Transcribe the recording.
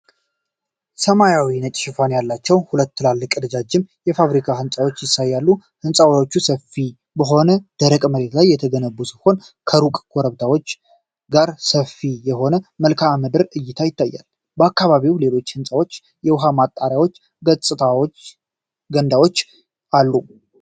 ሰማያዊና ነጭ ሽፋን ያላቸው ሁለት ትላልቅ፣ ረዣዥም የፋብሪካ ህንጻዎችን ያሳያል። ሕንጻዎቹ ሰፊ በሆነ ደረቅ መሬት ላይ የተገነቡ ሲሆን፣ ከሩቅ ኮረብታዎች ጋር ሰፊ የሆነ የመልክዓ ምድር እይታ ይታያል። በአካባቢው ሌሎች ሕንጻዎችና የውኃ ማጠራቀሚያ ገንዳዎች አሉ።